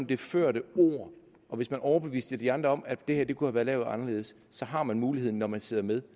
det førte ord hvis man overbeviser de andre om at det her kunne være lavet anderledes så har man muligheden når man sidder med